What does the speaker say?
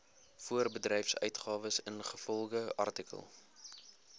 voorbedryfsuitgawes ingevolge artikel